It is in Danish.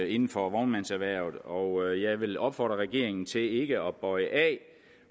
inden for vognmandserhvervet og jeg vil opfordre regeringen til ikke at bøje af